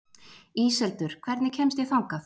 Íseldur, hvernig kemst ég þangað?